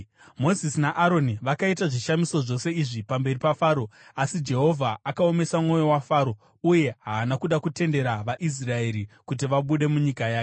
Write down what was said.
Mozisi naAroni vakaita zvishamiso zvose izvi pamberi paFaro, asi Jehovha akaomesa mwoyo waFaro uye haana kuda kutendera vaIsraeri kuti vabude munyika yake.